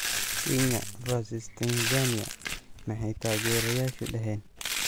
Kenya v Tanzania: maxay taageerayaashu dhaheen?